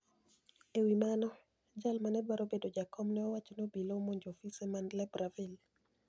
E wi mano, jal ma ni e dwaro bedo jakom ni e owacho nii obila ni e omonijo ofise mani Libreville.